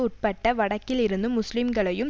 உட்பட்ட வடக்கில் இருந்து முஸ்லீம்களையும்